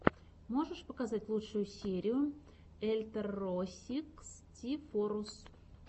можешь показать лучшую серию эльторросикстифоррус